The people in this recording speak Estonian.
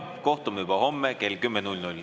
Kohtume juba homme kell kümme rõõmsate nägudega.